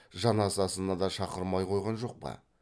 жаназасына да шақырмай қойған жоқ па